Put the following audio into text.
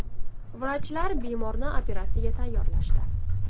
Vrachlar bemorni operatsiyaga tayyorlashdi.